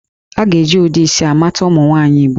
A ga-eji ụdị isi a mata ụmụ nwaanyị Igbo